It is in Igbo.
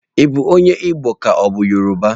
Ị bụ onye Igbo ka ọ bụ Yoruba?